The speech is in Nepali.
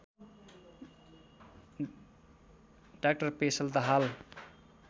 डा पेशल दाहाल